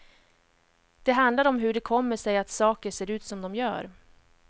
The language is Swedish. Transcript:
De handlar om hur det kommer sig att saker ser ut som de gör.